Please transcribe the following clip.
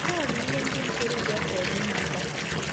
Nke a bụ ihe ndị ntorobịa chọrọ ịmata.